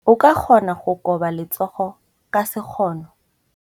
O ka kgona go koba letsogo ka sekgono.